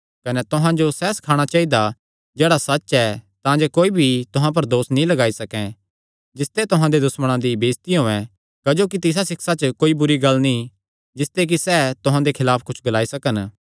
कने तुहां जो सैह़ सखाणा चाइदा जेह्ड़ा सच्च ऐ तांजे कोई भी तुहां पर दोस नीं लगाई सकैं जिसते तुहां दे दुश्मणा दी बेइज्जती होयैं क्जोकि तिसा सिक्षा च कोई बुरी गल्ल नीं जिसते कि सैह़ तुहां दे खलाफ कुच्छ ग्लाई सकन